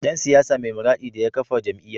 Dan siyasa mai muradin daya kafa jam’iyya